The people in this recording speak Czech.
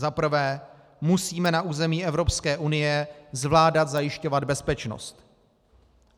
Za prvé, musíme na území Evropské unie zvládat zajišťovat bezpečnost.